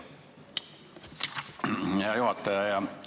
Hea juhataja!